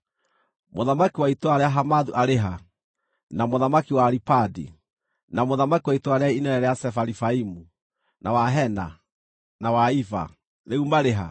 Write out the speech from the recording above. Mũthamaki wa itũũra rĩa Hamathu arĩ ha, na mũthamaki wa Aripadi, na mũthamaki wa itũũra rĩrĩa inene rĩa Sefarivaimu, na wa Hena, na wa Iva, rĩu marĩ ha?”